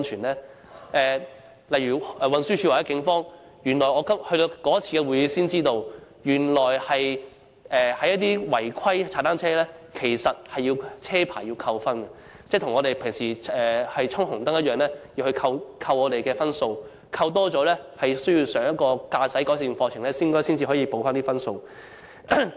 其實，我是在某次會議上才從運輸署和警方得知，違規踏單車是要從駕駛執照扣分的，一如駕車衝紅燈般，扣滿一定分數後，就要修讀一個駕駛改善課程以補回分數。